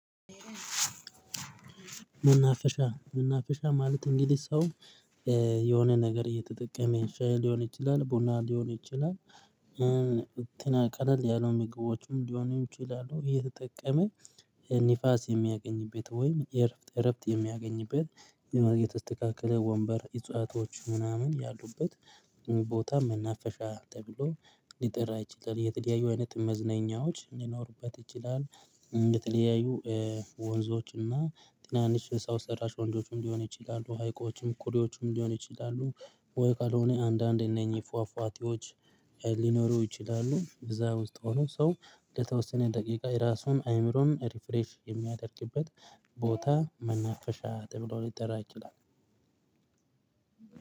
መናፈሻ መናፈሻ ማለት እንግዲ ሰው የሆነ ነገር እየተጠቀመ ሻይ ሊሆን ይችላል ቡና ሊሆን ይችላል። እንትን ቀለል ያለው ምግቦችም ሊሆኑ ይችላሉ የተጠቀመ ንፋስ የሚያገኝበት ወይም እረፍት እረፍት የሚያገኝበት የመርጌ የተስተካከለ ወንበር እጽዋቶች ምናምን ያሉበት ቦታ መናፈሻ ተብሎ ሊጠራ ይችላል። የተለያዩ አይነት መዝነኛዎች ሊኖሩበት ይችላል የተለያዩ ወንዞች እና ትናንሽ ሰው ሰራሽ ወንዞችም ሊሆን ይችላሉ ሀይቆችም ኩሬዎችም ሊሆን ይችላሉ። ወይ ካልሆነ አንዳንዴ እነኚህ ፏፏቴዎች ሊኖሩ ይችላሉ እዛ ውስጥ ሆኖ ሰው ለተወሰነ ደቂቃ የራሱን አይምሮን ሪፍሬሽ የሚያደርግበት ቦታ መናፈሻ ተብሎ ሊጠራ ይችላል።